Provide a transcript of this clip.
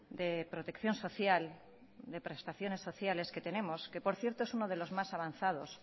de protección social de prestaciones sociales que tenemos que por cierto es uno de los más avanzados